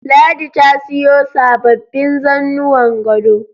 Ladi ta siyo sababbin zannuwan gado